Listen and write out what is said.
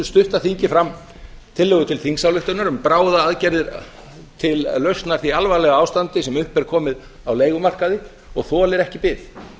stutta þingi fram tillögu til þingsályktunar um bíða aðgerðir til lausnar því alvarlega ástandi sem upp er komið á leigumarkaði og þolir ekki bið